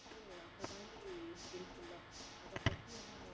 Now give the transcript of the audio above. வந்து அந்த மாதிரி இருக்குல்ல அதை பத்தி வந்து நம்ம